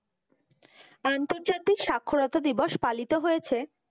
আন্তর্জাতিক স্বাক্ষরতা দিবস পালিত হয়েছে।